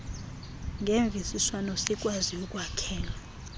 ngemvisiswano sikwazi ukwakhela